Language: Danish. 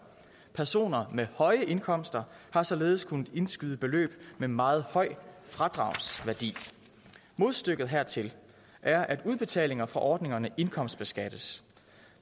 personer med høje indkomster har således kunnet indskyde beløb med meget høj fradragsværdi modstykket hertil er at udbetalinger fra ordningerne indkomstbeskattes